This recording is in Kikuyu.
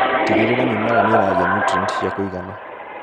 Tigĩrĩra mimera nĩiragia nutrienti cia kũigana.